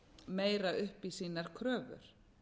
meira upp í sínar kröfur